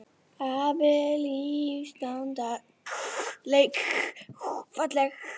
Standa þarna í garðinum keik, laufmikil og falleg.